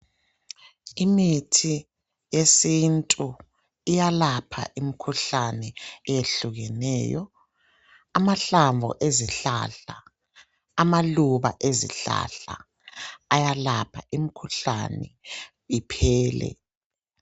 Imithi yesintu iyalapha imikhuhlane eyehlukeneyo, amahlamvu ezihlahla, amaluba ezihlahla ayalapha imikhuhlane iphele.